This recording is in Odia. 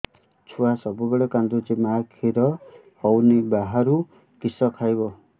ଛୁଆ ସବୁବେଳେ କାନ୍ଦୁଚି ମା ଖିର ହଉନି ବାହାରୁ କିଷ ଖାଇବ